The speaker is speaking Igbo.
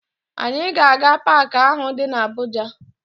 Anyị ga-aga paakị ahụ dị na Abuja